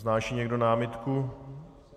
Vznáší někdo námitku?